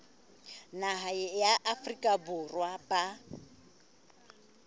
naha ya afrika borwa ba